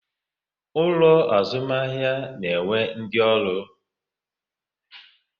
Ulo azumahia na-enwe ndi oru